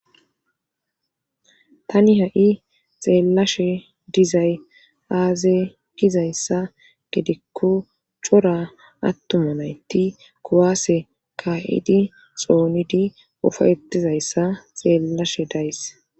tani ha'i xeellashe dizay aaze gizayssa gedikko cora attuma naytti kuwaase ka'idi xoonidi ufayetizayssa xeellashe days